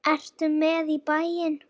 Ertu með í bæinn?